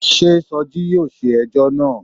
Sé Soji yóò ṣe ẹjọ́ náà.